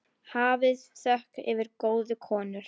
Hafið þökk fyrir góðu konur.